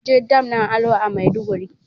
Munje dam ɗin alo a maiduguri